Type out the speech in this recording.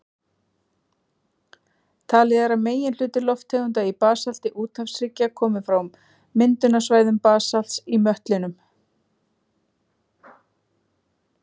Talið er að meginhluti lofttegunda í basalti úthafshryggja komi frá myndunarsvæðum basalts í möttlinum.